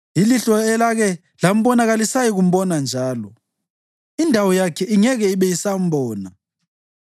Ilihlo elake lambona kalisayikumbona njalo; indawo yakhe ingeke ibe isambona.